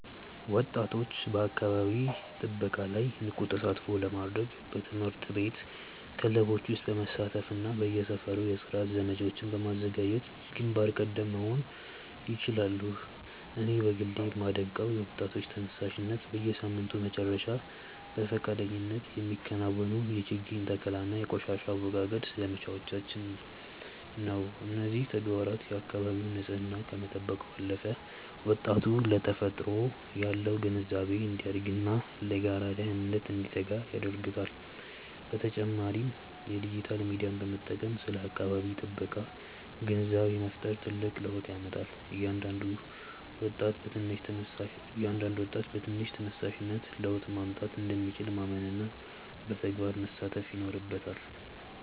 ወጣቶች በአካባቢ ጥበቃ ላይ ንቁ ተሳትፎ ለማድረግ በትምህርት ቤት ክበቦች ውስጥ በመሳተፍና በየሰፈሩ የጽዳት ዘመቻዎችን በማዘጋጀት ግንባር ቀደም መሆን ይችላሉ። እኔ በግሌ የማደንቀው የወጣቶች ተነሳሽነት፣ በየሳምንቱ መጨረሻ በፈቃደኝነት የሚከናወኑ የችግኝ ተከላና የቆሻሻ አወጋገድ ዘመቻዎችን ነው። እነዚህ ተግባራት የአካባቢን ንፅህና ከመጠበቅ ባለፈ፣ ወጣቱ ለተፈጥሮ ያለው ግንዛቤ እንዲያድግና ለጋራ ደህንነት እንዲተጋ ያደርጉታል። በተጨማሪም የዲጂታል ሚዲያን በመጠቀም ስለ አካባቢ ጥበቃ ግንዛቤ መፍጠር ትልቅ ለውጥ ያመጣል። እያንዳንዱ ወጣት በትንሽ ተነሳሽነት ለውጥ ማምጣት እንደሚችል ማመንና በተግባር መሳተፍ ይኖርበታል።